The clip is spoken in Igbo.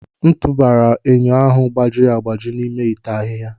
A tụbara m enyo ahụ gbajiri agbaji n'ime ite ahịhịa.